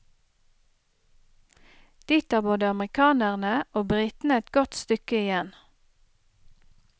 Dit har både amerikanerne og britene et godt stykke igjen.